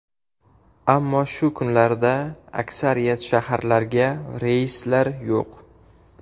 Ammo shu kunlarda aksariyat shaharlarga reyslar yo‘q.